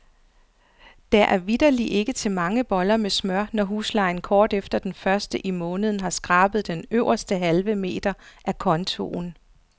Der er vitterligt ikke til mange boller med smør, når huslejen kort efter den første i måneden har skrabet den øverste halve meter af kontoen.